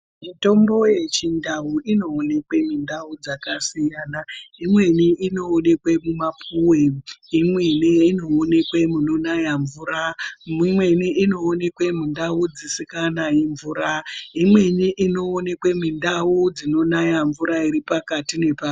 Mitombo yechindau inoonekwe mundau dzakasiyana. Imweni inoonekwe mumapuwe, imweni inoonekwe munonaya mvura, imweni inoonekwa mundau dzisinganayi mvura, imweni inoonekwa mundau dzinonaya mvura iripakati nepakati.